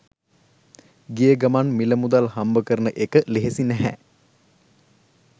ගිය ගමන් මිල මුදල් හම්බ කරන එක ලෙහෙසි නැහැ